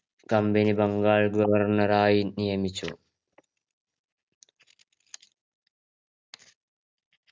company Bengal governor ആയി നിയമിച്ചു